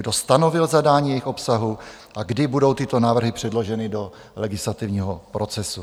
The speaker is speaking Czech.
Kdo stanovil zadání jejich obsahu a kdy budou tyto návrhy předloženy do legislativního procesu?